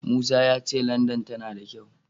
Musa ya ce Landan tana da kyau.